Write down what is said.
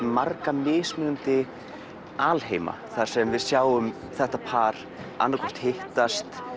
marga mismunandi alheima þar sem við sjáum þetta par annað hvort hittast